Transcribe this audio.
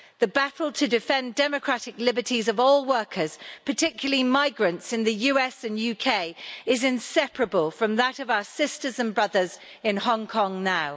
The battle to defend democratic liberties of all workers, particularly migrants in the US and UK, is inseparable from that of our sisters and brothers in Hong Kong now.